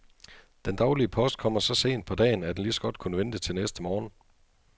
Den daglige post kommer så sent på dagen, at den lige så godt kunne vente til næste morgen.